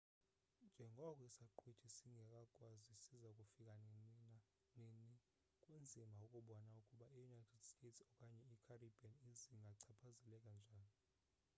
njengoko isaqhwithi singekaziwa siza kufika nini kunzima ukubona ukuba i-united states okanye i-caribbean zingachaphazeleka njani